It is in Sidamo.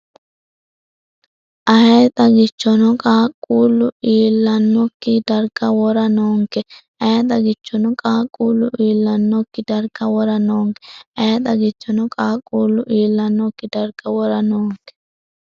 Ayee xagichono qaaqquullu iillannokki darga wora noonke Ayee xagichono qaaqquullu iillannokki darga wora noonke Ayee xagichono qaaqquullu iillannokki darga wora.